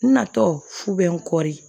N natɔ fu bɛ n kɔɔri